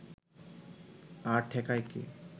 আর ঠেকায় কে